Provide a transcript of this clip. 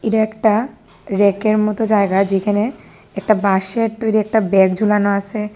এটা একটা ব়্যাকের মতো জায়গা যেখানে একটা বাঁশের তৈরি একটা ব্যাগ ঝোলানো আসে।